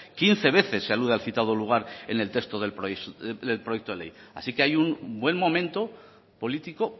quince veces se alude al citado lugar en el texto del proyecto de ley así que hay un buen momento político